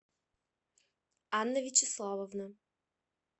анна вячеславовна